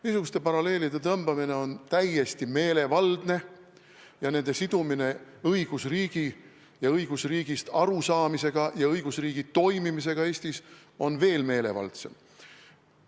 Niisuguste paralleelide tõmbamine on täiesti meelevaldne ja nende sidumine õigusriigist arusaamisega ja õigusriigi toimimisega Eestis on veel meelevaldsem.